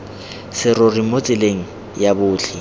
serori mo tseleng ya botlhe